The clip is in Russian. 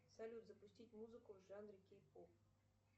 салют запустить музыку в жанре кей поп